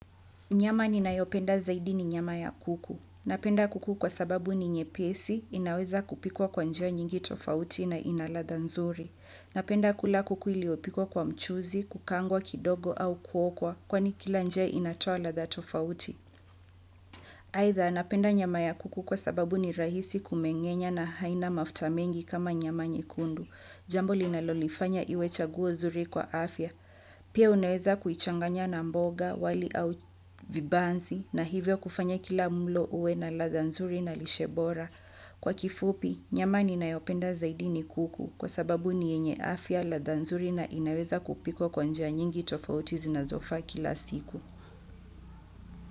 Nyama ni nayopenda zaidi ni nyama ya kuku. Napenda kuku kwa sababu ni nyepesi, inaweza kupikwa kwa njia nyingi tofauti na inaladha nzuri. Napenda kula kuku iliopikwa kwa mchuzi, kukaangwa kidogo au kuokwa, kwani kila njia inatoa latha tofauti. Haitha napenda nyama ya kuku kwa sababu ni rahisi kumengenya na haina mafta mengi kama nyama nyekundu, jambo li nalolifanya iwecha guo zuri kwa afya. Pia unaweza kuichanganya na mboga, wali au vibanzi na hivyo kufanya kila mlo uwe na latha nzuri na lishe bora. Kwa kifupi, nyama ninayopenda zaidi ni kuku kwa sababu ni yenye afya, lathanzuri na inaweza kupikwa kwa nija nyingi tofauti zinazo faa kila siku.